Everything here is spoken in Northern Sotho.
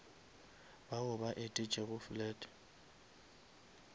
bao ba etetšego flat